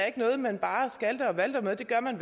ikke noget man bare skalter og valter med det gør man